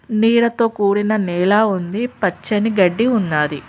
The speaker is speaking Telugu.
నీడతో కూడిన నేల ఉంది పచ్చని గడ్డి ఉన్నాది.